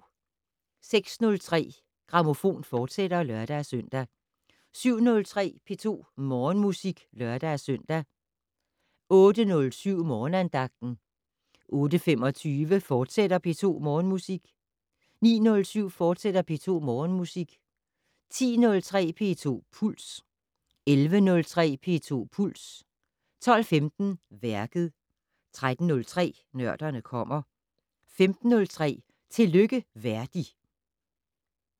06:03: Grammofon, fortsat (lør-søn) 07:03: P2 Morgenmusik (lør-søn) 08:07: Morgenandagten 08:25: P2 Morgenmusik, fortsat 09:07: P2 Morgenmusik, fortsat 10:03: P2 Puls 11:03: P2 Puls 12:15: Værket 13:03: Nørderne kommer 15:03: Tillykke Verdi